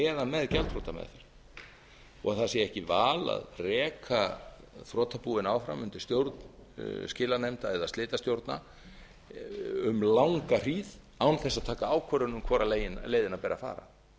eða með gjaldþrotameðferð og það sé ekki val að reka þrotabúin áfram undir stjórn skilanefnda eða slitastjórna um langa hríð án þess að taka ákvörðun um hvora leiðina beri að fara það